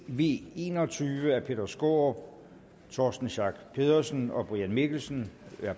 v en og tyve af peter skaarup torsten schack pedersen og brian mikkelsen